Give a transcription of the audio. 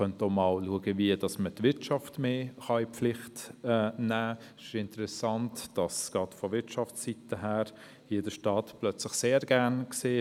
Prüfenswert wäre auch, wie die Wirtschaft stärker in die Pflicht genommen werden könnte – es ist interessant, wie gerade die Wirtschafsseite den Staat hier plötzlich sehr gerne sieht.